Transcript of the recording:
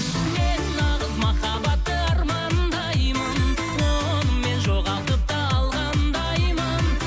мен нағыз махаббатты армандаймын оны мен жоғалтып та алғандаймын